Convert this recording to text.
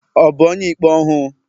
Ọ̀ bu onye-ikpé ọhu?